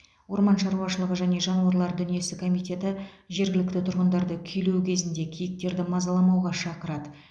орман шаруашылығы және жануарлар дүниесі комитеті жергілікті тұрғындарды күйлеу кезінде киіктерді мазаламауға шақырады